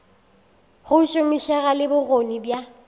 go šomišega le bokgoni bja